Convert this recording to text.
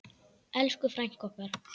Elsku frænka okkar.